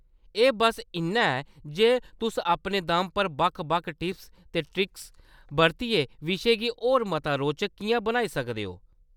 एह्‌‌ बस्स इन्ना ऐ जे तुसअपने दम पर बक्ख बक्ख टिप्स ते ट्रिक्स बरतियै विशे गी होर मता रोचक किʼयां बनाई सकदे ओ।